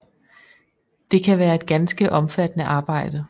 Det kan være et ganske omfattende arbejde